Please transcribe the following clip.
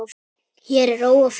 Hér er ró og friður.